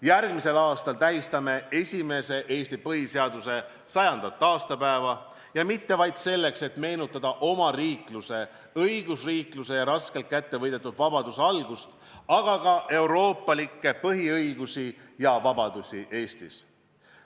Järgmisel aastal tähistame esimese Eesti põhiseaduse 100. aastapäeva ja mitte ainult selleks, et meenutada omariikluse, õigusriikluse ja raskelt kätte võidetud vabaduse algust, vaid ka euroopalikke põhiõigusi ja -vabadusi Eestis.